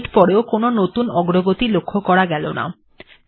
কিছু মিনিট পরেও নতুন কোনো অগ্রগতি লক্ষ্য করা যাচ্ছে না